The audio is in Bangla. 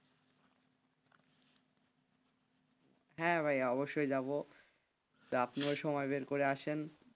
হ্যাঁ ভাইয়া অবশ্যই যাবো আপনিও সময় বের করে আসেন,